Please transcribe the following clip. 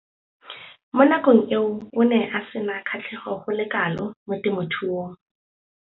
Mo nakong eo o ne a sena kgatlhego go le kalo mo temothuong.